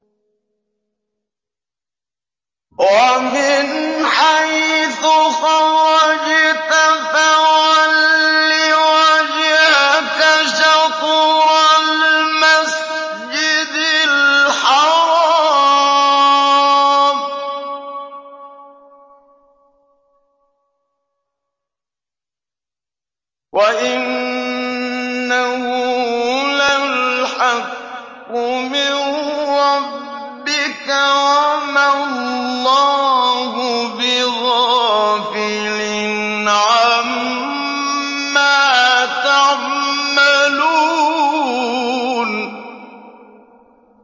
وَمِنْ حَيْثُ خَرَجْتَ فَوَلِّ وَجْهَكَ شَطْرَ الْمَسْجِدِ الْحَرَامِ ۖ وَإِنَّهُ لَلْحَقُّ مِن رَّبِّكَ ۗ وَمَا اللَّهُ بِغَافِلٍ عَمَّا تَعْمَلُونَ